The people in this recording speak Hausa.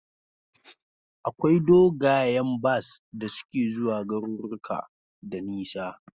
Akwai dogayen bas da suke zuwa garuruka da nisa